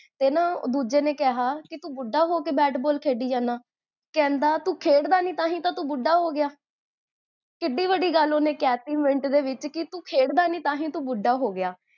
ਤੇ ਨਾ ਦੂਜੇ ਨੇ ਕੇਹਾ ਕੀ ਤੂ ਬੁਢਾ ਹੋ ਕੇ bat ball ਖੇਡਦੀ ਜਾਨਾ ਕਹੰਦਾ ਤੂੰ ਖੇਡਦਾ ਨੀ ਤਾਹੀਂ ਤਾਂ ਤੂ ਬੁਢਾ ਹੋਗਿਆ ਕਿੱਡੀ ਵੱਡੀ ਗਲ ਓਨ੍ਨੇ ਕਹ ਤੀ ਮਿੰਟ ਦੇ ਵਿੱਚ, ਕੀ ਤੂੰ ਖੇਡਦਾ ਨੀ ਤਾਹੀਂ ਤਾਂ ਤੂ ਬੁਢਾ ਹੋਗਿਆ